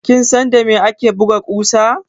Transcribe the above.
Kin san da me ake buga ƙusa?